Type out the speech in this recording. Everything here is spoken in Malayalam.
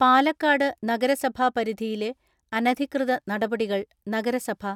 പാലക്കാട് നഗരസഭാപരിധിയിലെ അനധികൃത നടപടികൾ നഗരസഭ